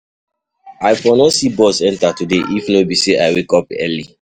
I for no see bus enter today if no be say I wake up early.